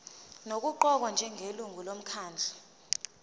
nokuqokwa njengelungu lomkhandlu